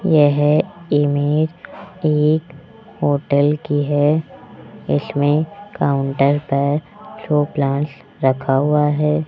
यह इमेज एक होटल की है इसमें काउंटर पर शो प्लांट्स रखा हुआ है।